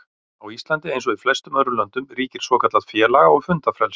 Á Íslandi, eins og í flestum öðrum löndum, ríkir svokallað félaga- og fundafrelsi.